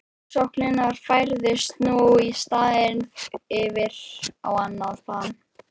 Ofsóknirnar færðust nú í staðinn yfir á annað plan.